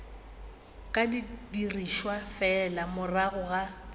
ka dirišwa fela morago ga